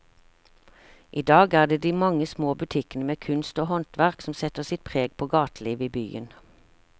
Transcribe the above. I dag er det de mange små butikkene med kunst og håndverk som setter sitt preg på gatelivet i byen.